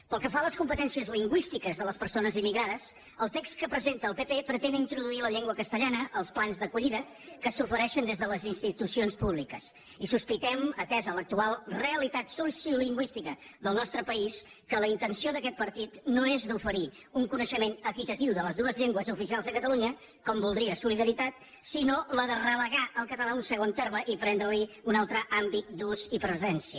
pel que fa a les competències lingüístiques de les per·sones immigrades el text que presenta el pp pretén introduir la llengua castellana als plans d’acollida que s’ofereixen des de les institucions públiques i sospi·tem atesa l’actual realitat sociolingüística del nostre país que la intenció d’aquest partit no és la d’oferir un coneixement equitatiu de les dues llengües oficials a catalunya com voldria solidaritat sinó la de relegar el català a un segon terme i prendre·li un altre àmbit d’ús i presència